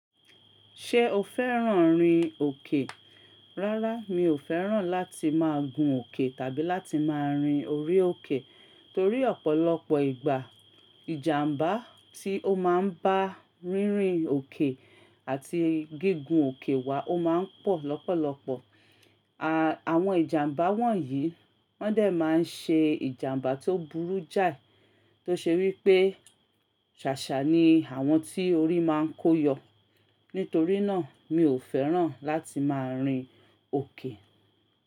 Ṣé o fẹ́ràn rin òkè? Rárá, mi ò fẹ́ràn láti máa gun òkè tàbí láti máa rin orí òkè torí ọ̀pọ̀lọpọ̀ ìgbà ìjàmbá tí ó máa ń bá rnírin òkè àti gígùn òkè wa ó máa ń pọ̀ lọ́pọ̀lọpọ̀. Àwọn ìjàmbá wọ̀nyí wọ́n de ma ń ṣe ìjàmbá tó burú jáì tó ṣe wí pé sàṣà ni àwọn tí orí má ń kó yọ. Nítorí náà, mi ò fẹ́ràn láti máa rin òkè.